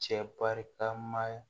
Cɛ barikama